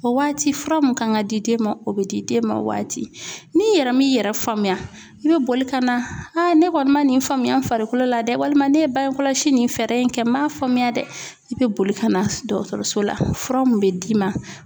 O waati fura mun kan ka di den ma o bɛ di den ma o waati n'i yɛrɛ m'i yɛrɛ faamuya i bɛ boli ka na ne kɔni man nin faamuya n farikolo la dɛ walima ne ye bange kɔlɔsi nin fɛɛrɛ in kɛ n m'a faamuya dɛ i bɛ boli ka na dɔgɔtɔrɔso la fura min bɛ d'i ma